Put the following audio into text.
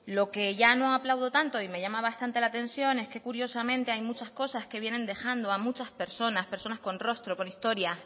lo que ya no aplaudo tanto y me llama bastante la atención es que curiosamente hay muchas cosas que vienen dejando a muchas personas personas con rostro con historias